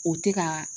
O tɛ ka